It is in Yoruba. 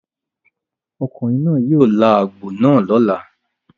Ọkùnrin náà yóò là àgbò náà lọ́la.